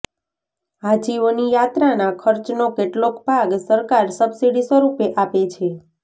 હાજીઓની યાત્રાના ખર્ચનો કેટલોક ભાગ સરકાર સબસિડી સ્વરૂપે આપે છે